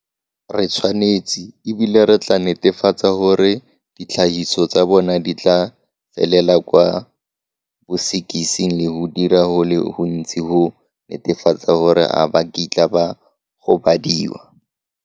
Re tshwanetse, e bile re tla netefatsa gore ditlhagiso tsa bona di tla felela kwa bosekising le go dira go le gontsi go netefatsa gore ga ba kitla ba gobadiwa.